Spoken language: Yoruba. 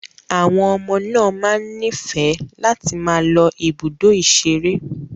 Àwọn ọmọ náà máa ń nífẹ̀ẹ́ láti máa lọ ibùdó ìṣeré.